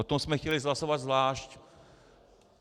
O tom jsme chtěli hlasovat zvlášť.